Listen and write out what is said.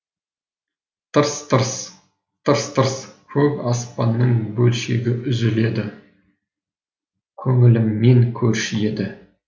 тырс тырс тырс тырс көк аспанның бөлшегі үзіледі көңіліммен көрші еді